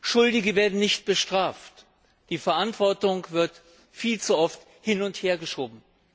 Schuldige werden nicht bestraft, die Verantwortung wird viel zu oft hin und hergeschoben.